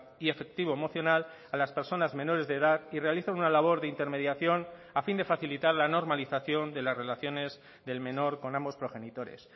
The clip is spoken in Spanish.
y efectivo emocional a las personas menores de edad y realizan una labor de intermediación a fin de facilitar la normalización de las relaciones del menor con ambos progenitores